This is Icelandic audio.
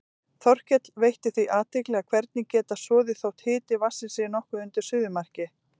Þorkell veitti því athygli að hverir geta soðið þótt hiti vatnsins sé nokkuð undir suðumarki.